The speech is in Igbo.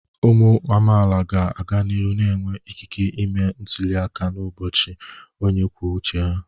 Ụmụ amaala ga-aga n'ihu na-enwe ikike ịme ntuli aka n'ọchịchị onye kwuo uche.